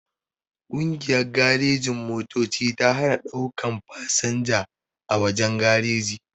Kungiyan garejin-motoci ta hana daukan fasanja a wajen gareji